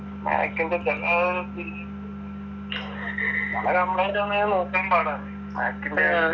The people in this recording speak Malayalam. MAC ൻ്റെ complaint വന്നാ പിന്നെ നോക്കലും പാടാണ് MAC ൻ്റെ